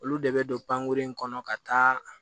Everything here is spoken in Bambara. Olu de bɛ don panguru in kɔnɔ ka taa